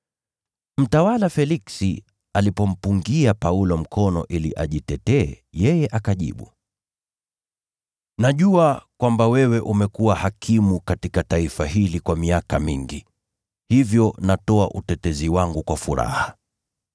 Mtawala Feliksi alipompungia Paulo mkono ili ajitetee, yeye akajibu, “Najua kwamba wewe umekuwa hakimu katika taifa hili kwa miaka mingi, hivyo natoa utetezi wangu kwa furaha.